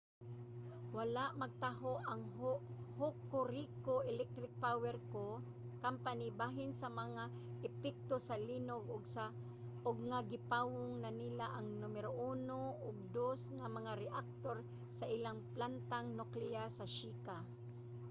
wala magtaho ang hokuriku electric power co. bahin sa mga epekto sa linog ug nga gipawong na nila ang numero 1 ug 2 nga mga reaktor sa ilang plantang nukleyar sa shika